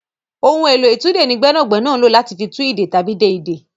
Ohun èlò ìtúdè ní gbẹ́nàgbẹ́nà ń lò láti fi tú ìdè tàbí de ìdè.